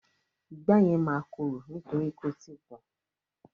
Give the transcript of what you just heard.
Ìgbá yẹn máa korò nítorí kò tíì pọ́n.